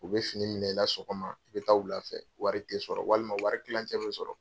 U bɛ fini minɛ i la sɔgɔma, i bɛ taa lwula fɛ wari tɛ sɔrɔ, walima wari kilancɛ bɛ sɔrɔ.